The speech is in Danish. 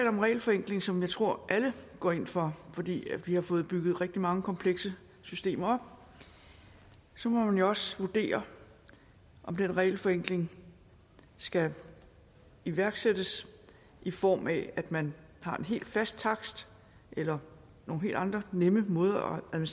om regelforenkling som jeg tror alle går ind for fordi vi har fået bygget rigtig mange komplekse systemer op så må man jo også vurdere om den regelforenkling skal iværksættes i form af at man har en helt fast takst eller nogle helt andre nemme måder at